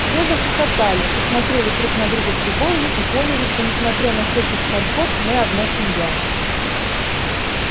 все захохотали посмотрели друг на друга с любовью и поняли что несмотря на всяких хорьков мы одна семья